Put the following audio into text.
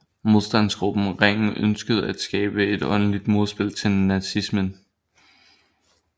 Modstandsgruppen Ringen ønskede at skabe et åndeligt modspil til nazismen